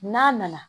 N'a nana